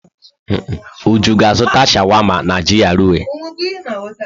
Uju ga-azụta sháwámá n'GRA?